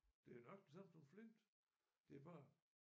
Det er nøjagtigt det samme som flint det er bare